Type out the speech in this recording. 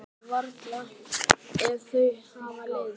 Nei, varla ef þau hafa leiðst.